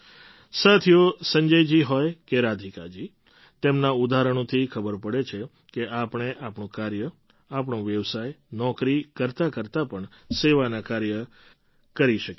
સાથીઓ સંજય જી હોય કે રાધિકા જી તેમનાં ઉદાહરણોથી ખબર પડે છે કે આપણે આપણું કાર્ય આપણો વ્યવસાય નોકરી કરતાકરતા પણ સેવાનાં કાર્ય કરી શકીએ છીએ